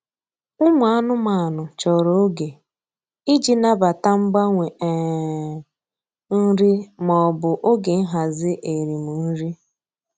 Ụmụ anụmanụ chọrọ oge iji nabata mgbanwe um nri maọbụ oge nhazi erim nri.